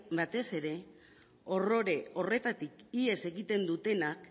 batez ere horrore horretatik ihes egiten dutenak